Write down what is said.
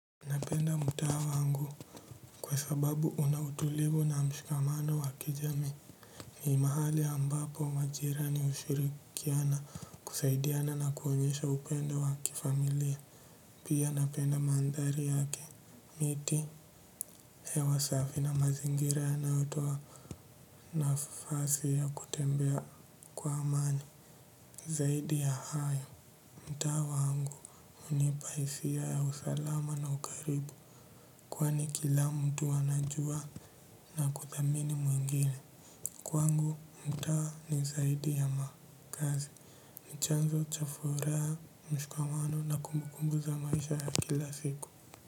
Napenda mtaa wangu kwa sababu una utulivu na mshikamano wa kijamii. Mi mahali ambapo majirani hushirikiana kusaidiana na kuonyesha upendo wa kifamilia. Pia napenda mandhari yake. Miti hewa safi na mazingira yanayotoa nafasi ya kutembea kwa amani. Zaidi ya hayo, mtaa wangu hunipa hisia ya usalama na ukaribu. Kwani kila mtu anajua na kuthamini mwingine. Kwangu mtaa ni zaidi ya makazi ni chanzo cha furaha mshikamano na kumbukumbu za maisha ya kila siku.